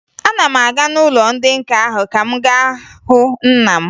Ana m aga n'ụlọ ndị nka ahụ ka m gaa hụ nna m